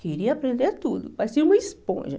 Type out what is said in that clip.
Queria aprender tudo, parecia uma esponja.